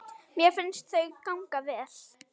Mér finnst þau ganga vel.